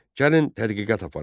Gəlin tədqiqat aparaq.